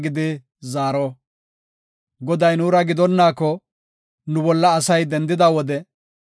“Goday nuura gidonnaako, nu bolla asay dendida wode,